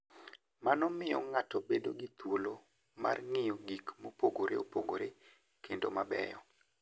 Mano miyo ng'ato bedo gi thuolo mar ng'iyo gik mopogore opogore kendo mabeyo.